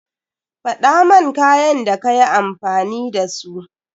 Faɗaman kayan da kayi amfani da su.